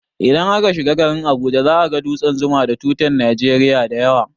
Indan aka shiga garin Abuja, za a ga dutsen zuma da tutan Nigeria dayawa